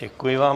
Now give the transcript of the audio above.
Děkuji vám.